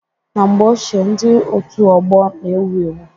Na mgbe ochie, ndị otu ọgbọ na-ewu ewu.